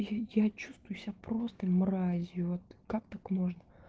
я я чувствую себя просто мразью вот как так можно